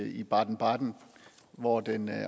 i baden baden hvor den